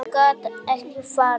Hann gat ekki farið.